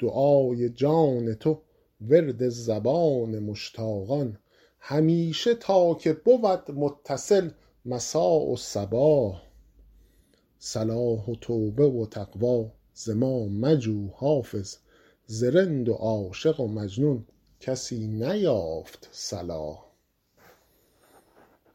دعای جان تو ورد زبان مشتاقان همیشه تا که بود متصل مسا و صباح صلاح و توبه و تقوی ز ما مجو حافظ ز رند و عاشق و مجنون کسی نیافت صلاح